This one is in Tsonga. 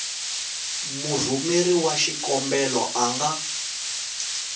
murhumeri wa xikombelo a nga